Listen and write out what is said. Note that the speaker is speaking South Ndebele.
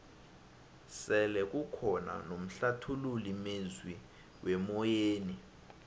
sele kukhona nomhlathululi mezwi wemoyeni